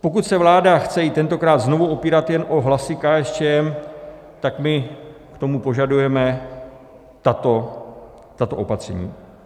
Pokud se vláda chce i tentokrát znovu opírat jen o hlasy KSČM, tak my k tomu požadujeme tato opatření.